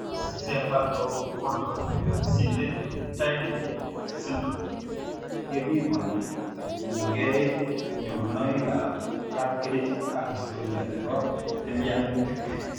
Greig cephalopolysyndactyly syndrome kepimani kotiengei nyorunoik ab kapkerich ak historia nebo tilyanutik